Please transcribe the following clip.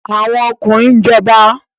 Àwọn ọkùnrin ń jọba